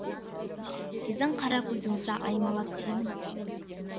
сіздің қара көзіңізді аймалап сүйемін